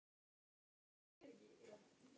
Er það dýrt?